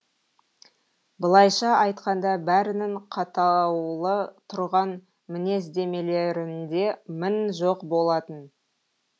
былайша айтқанда бәрінің қаттаулы тұрған мінездемелерінде мін жоқ болатын